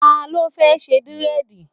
Ta ló fẹ́ ṣe dírẹ̀dì?